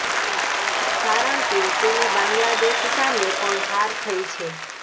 કારણ કે તેની બાંગ્લાદેશ સામે પણ હાર થઇ છે